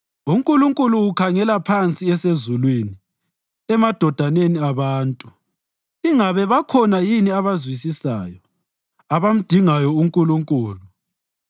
UNkulunkulu ukhangela phansi esezulwini emadodaneni abantu ingabe bakhona yini abazwisisayo, abamdingayo uNkulunkulu.